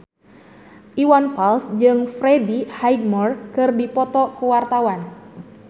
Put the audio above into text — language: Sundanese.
Iwan Fals jeung Freddie Highmore keur dipoto ku wartawan